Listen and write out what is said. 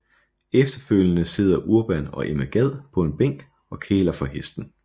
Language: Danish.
Efterfølgende sidder Urban og Emma Gad på en bænk og kæler for hesten